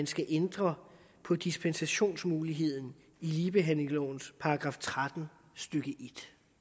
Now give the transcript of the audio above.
skal ændre på dispensationsmuligheden i ligebehandlingslovens § tretten stykke en